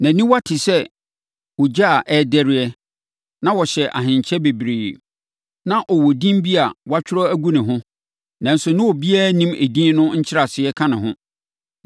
Nʼaniwa te sɛ ogya a ɛrederɛ na ɔhyɛ ahenkyɛ bebree. Na ɔwɔ din bi a wɔatwerɛ agu ne ho, nanso na obiara nnim edin no nkyerɛaseɛ ka ne ho.